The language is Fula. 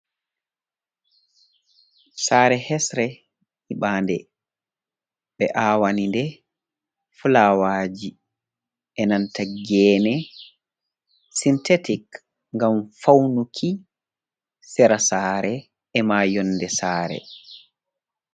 Saare hesre nyibaande, ɓe aawani nde fulawaaji e nanta geene sinteetik ngam fawnuki sera saare e maa yonnde saare.